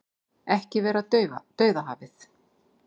Ekki vera Dauðahafið